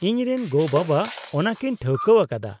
-ᱤᱧᱨᱮᱱ ᱜᱚᱼᱵᱟᱵᱟ ᱚᱱᱟᱠᱤᱱ ᱴᱷᱟᱹᱣᱠᱟᱹᱣᱟᱠᱟᱫᱟ ᱾